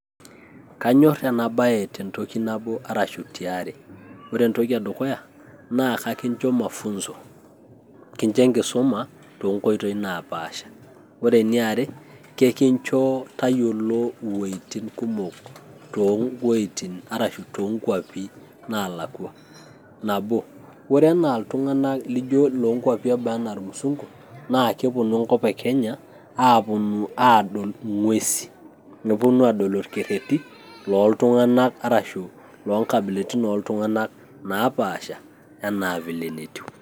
Kanyor enabae tentoki nabo arashu tiare. Ore entoki edukuya, naa kekinjo mafunzo. Kincho enkisuma tonkoitoi napaasha. Ore eniare, kekinjo tayiolo iweiting' kumok towueiting' arashu tokwapi nalakwa. Nabo, ore enaa iltung'anak lijo lonkwapi eboo enaa irmusunku, na keponu enkop e kenya, aponu adol ing'uesin. Neponu adol irkerrerrin loltung'anak arashu loonkabilaritin oltung'anak napaasha, enaa vile netiu.